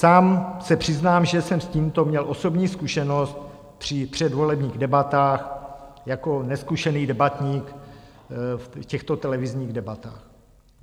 Sám se přiznám, že jsem s tímto měl osobní zkušenost při předvolebních debatách jako nezkušený debatník v těchto televizních debatách.